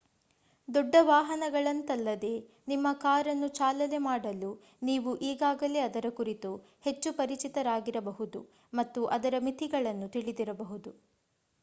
ದೊಡ್ಡ ವಾಹನಗಳಂತಲ್ಲದೇ ನಿಮ್ಮ ಕಾರನ್ನು ಚಾಲನೆ ಮಾಡಲು ನೀವು ಈಗಾಗಲೇ ಅದರ ಕುರಿತು ಹೆಚ್ಚು ಪರಿಚಿತರಾಗಿರಬಹುದು ಮತ್ತು ಅದರ ಮಿತಿಗಳನ್ನು ತಿಳಿದಿರಬಹುದು